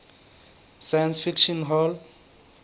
science fiction hall